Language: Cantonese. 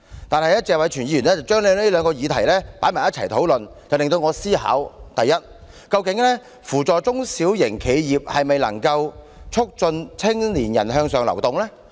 但是，謝偉銓議員將兩項議題放在一起討論，促使我思考：第一，究竟扶助中小企是否就能促進青年人向上流動？